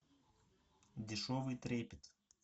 дешевый трепет